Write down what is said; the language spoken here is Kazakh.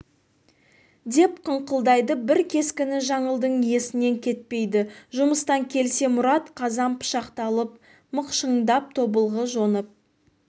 деп қыңқылдайды бір кескіні жаңылдың есінен кетпейді жұмыстан келсе мұрат қазан пышақты алып мықшыңдап тобылғы жонып